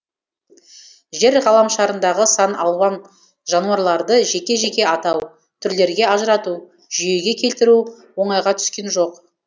жер ғаламшарындағы сан алуан жануарларды жеке жеке атау түрлерге ажырату жүйеге келтіру оңайға түскен жоқ